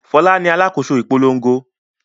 Fọlá ni alákòóso ìpolongo.